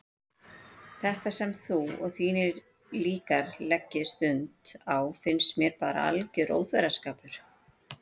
Þetta sem þú og þínir líkar leggið stund á finnst mér bara alger óþverraskapur.